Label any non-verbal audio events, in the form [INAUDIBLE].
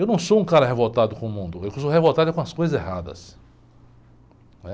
Eu não sou um cara revoltado com o mundo, eu [UNINTELLIGIBLE] sou revoltado é com as coisas erradas.